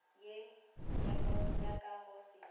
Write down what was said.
ye ya ka go se